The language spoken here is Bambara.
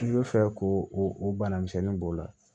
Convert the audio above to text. K'i bɛ fɛ k'o o bana misɛnnin b'o la